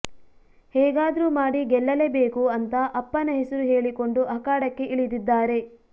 ಹೇಗಾದ್ರು ಮಾಡಿ ಗೆಲ್ಲಲೇ ಬೇಕು ಅಂತಾ ಅಪ್ಪನ ಹೆಸರು ಹೇಳಿಕೊಂಡು ಅಖಾಡಕ್ಕೆ ಇಳಿದಿದ್ದಾರೆ